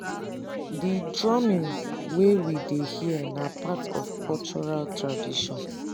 di drumming wey we dey hear na part of cultural tradition